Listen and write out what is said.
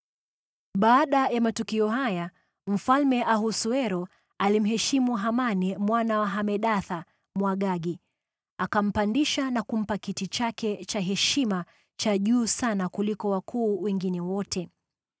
Baada ya matukio haya, Mfalme Ahasuero alimheshimu Hamani mwana wa Hamedatha, Mwagagi, akampandisha na kumpa kiti chake cha heshima cha juu sana kuliko wakuu wengine wote.